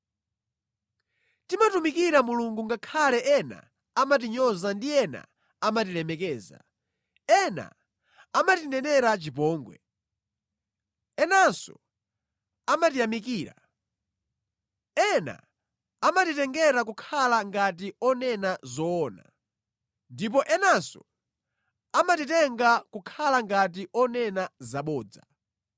Timatumikira Mulungu ngakhale ena amatinyoza ndi ena amatilemekeza, ena amatinenera chipongwe, enanso amatiyamikira. Ena amatitenga kukhala ngati onena zoona, ndipo enanso amatitenga kukhala ngati onena zabodza.